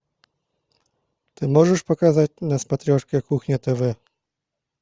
ты можешь показать на смотрешке кухня тв